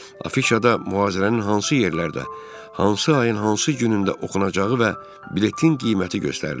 Afişada mühazirənin hansı yerlərdə, hansı ayın hansı günündə oxunacağı və biletin qiyməti göstərilir.